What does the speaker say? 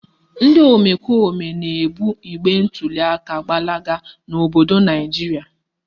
Ndị omekome na-ebu igbe ntuliaka gbalaga n'obodo Naijiria